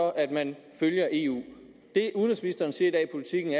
at man følger eu det udenrigsministeren siger i politiken